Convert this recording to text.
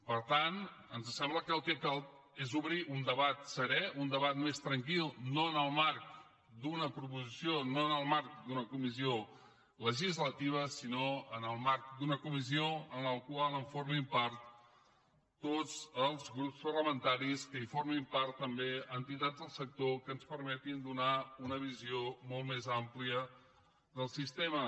per tant ens sembla que el que cal és obrir un debat serè un debat més tranquil no en el marc d’una proposició no en el marc d’una comissió legislativa sinó en el marc d’una comissió de la qual formin part tots els grups parlamentaris que en formin part també entitats del sector que ens permetin donar una visió molt més àmplia del sistema